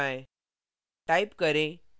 अब enter दबाएँ